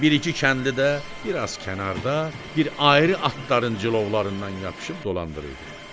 Bir-iki kəndli də bir az kənarda, bir ayrı atların cilovlarından yapışıb dolandırırdılar.